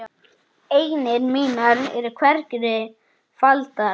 Eignir mínar eru hvergi faldar.